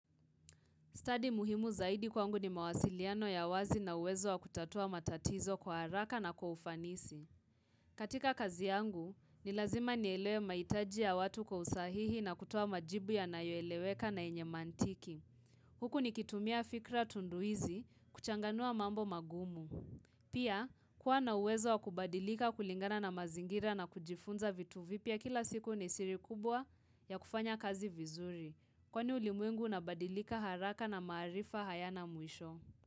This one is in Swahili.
Study muhimu zaidi kwangu ni mawasiliano ya wazi na uwezo wa kutatua matatizo kwa haraka na kwa ufanisi. Katika kazi yangu, ni lazima nielewe mahitaji ya watu kwa usahihi na kutoa majibu yanayoeleweka na yenye mantiki. Huku nikitumia fikra tunduizi, kuchanganua mambo magumu. Pia, kuwa na uwezo wa kubadilika kulingana na mazingira na kujifunza vitu vipya kila siku ni siri kubwa ya kufanya kazi vizuri. Kwani ulimwingu unabadilika haraka na maarifa hayana mwisho.